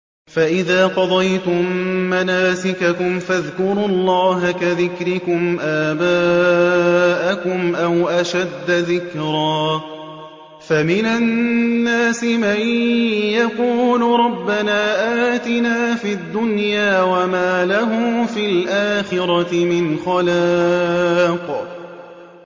فَإِذَا قَضَيْتُم مَّنَاسِكَكُمْ فَاذْكُرُوا اللَّهَ كَذِكْرِكُمْ آبَاءَكُمْ أَوْ أَشَدَّ ذِكْرًا ۗ فَمِنَ النَّاسِ مَن يَقُولُ رَبَّنَا آتِنَا فِي الدُّنْيَا وَمَا لَهُ فِي الْآخِرَةِ مِنْ خَلَاقٍ